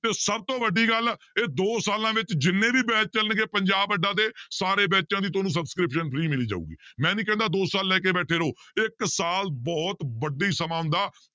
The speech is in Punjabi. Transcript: ਤੇ ਸਭ ਤੋਂ ਵੱਡੀ ਗੱਲ ਇਹ ਦੋ ਸਾਲਾਂ ਵਿੱਚ ਜਿੰਨੇ ਵੀ batch ਚੱਲਣਗੇ ਪੰਜਾਬ ਅੱਡਾ ਦੇ ਸਾਰੇ ਬੈਚਾਂ ਦੀ ਤੁਹਾਨੂੰ subscription free ਮਿਲੀ ਜਾਊਗੀ, ਮੈਂ ਨੀ ਕਹਿੰਦਾ ਦੋ ਸਾਲ ਲੈ ਕੇ ਬੈਠੇ ਰਹੋ ਇੱਕ ਸਾਲ ਬਹੁਤ ਵੱਡੀ ਸਮਾਂ ਹੁੰਦਾ,